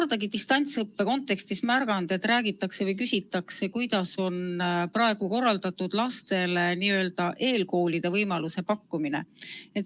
Ma ei ole distantsõppe teema puhul kordagi märganud, et räägitakse või küsitakse, kuidas on praegu korraldatud n-ö eelkooli võimaluse pakkumine.